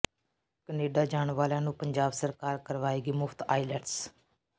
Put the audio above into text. Canada ਜਾਣ ਵਾਲਿਆਂ ਨੂੰ ਪੰਜਾਬ ਸਰਕਾਰ ਕਰਵਾਏਗੀ ਮੁਫਤ ਆਈਲੈਟਸ